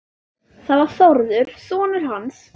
Það var Þórður sonur hans.